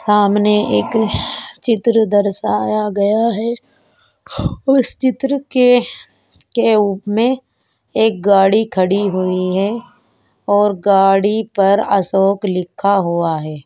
सामने एक चित्र दर्शाया गया है उस चित्र के के-उ में एक गाड़ी खड़ी हुई है और गाड़ी पर अशोक लिखा हुआ हे ।